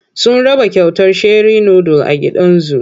Sun raba kyautar sheri nudul a gidan zu.